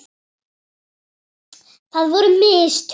Það voru mistök.